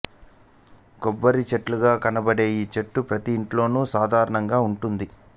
కొబ్బరిచెట్టులా కనపడే ఈ చెట్టు ప్రతి ఇంట్లోను సాధారణంగా ఉంటుంది